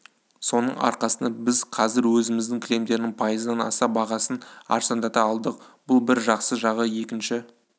соның арқасында біз қазір өзіміздің кілемдердің пайыздан аса бағасын арзандата алдық бұл бір жақсы жағы екінші